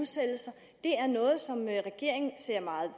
det er er noget som regeringen ser meget